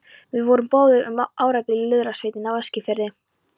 Við vorum báðir um árabil í lúðrasveitinni á Eskifirði.